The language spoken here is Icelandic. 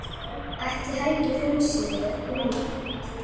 Ætli Helgi fúlsi við innmat?